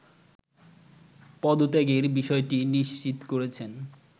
পদত্যাগের বিষয়টি নিশ্চিত করেছেন